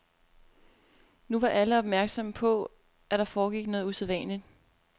Nu var alle opmærksomme på, at der foregik noget usædvanligt.